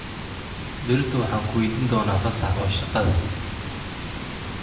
Berrito waxaan ku weydiin doonaa fasaax oo shaqada